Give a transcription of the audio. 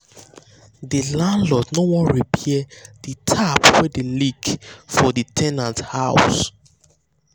the landlord no wan repair the the tap wey dey leak for ten ant house.